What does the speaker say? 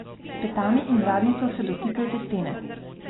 S petami in zadnjico se dotikajte stene.